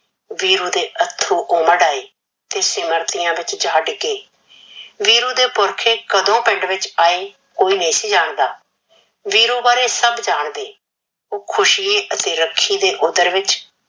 ਵੀਰੂ ਦੇ ਅੱਥਰੂ ਉਮੜ ਆਏ ਤੇ ਸਿਮਰਤੀਆ ਵਿਚ ਜਾ ਡਿੱਗੇ । ਵੀਰੂ ਦੇ ਪੁਰਖੇ ਕਦੋਂ ਪਿੰਡ ਵਿਚ ਆਏ ਕੋਈ ਨਹੀਂ ਸੀ ਜਾਣਦਾ, ਵੀਰੂ ਬਾਰੇ ਸਭ ਜਾਣਦੇ। ਉਹ ਖੁਸ਼ੀ ਅਤੇ ਰੱਖੀ ਦੇ ਓਦਰ ਵਿਚ